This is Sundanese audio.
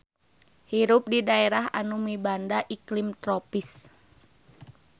Hirup di daerah anu mibanda iklim tropis.